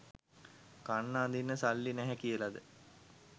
කන්න අඳින්න සල්ලි නැහැ කියලද